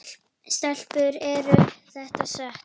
Stelpur er þetta satt?